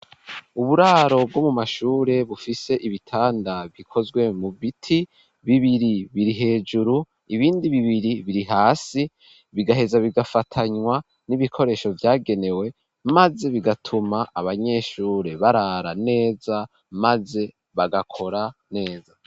Uburaro bwo mu mashure bufise ibitanda bikozwe mu biti, bibiri biri hejuru, ibindi bibiri biri hasi, bigaheza bigafatanywa n'ibikoresho vyagenewe, maze bigatuma abanyeshure barara neza maze bagakora neza.